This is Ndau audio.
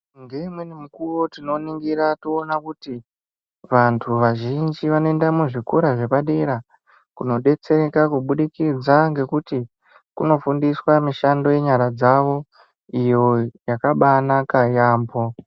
Ngeimweni mukuwo tinongira toona kuti vantu vazhinji vanoenda muzvikora zvepadera kunodetsereka kubudikidza ngekuti Kunofundiswa mishando yenyara dzavo iyo yakabanaka yambo.